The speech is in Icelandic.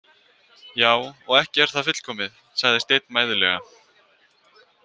Já, og ekki er það fullkomið, sagði Steinn mæðulega.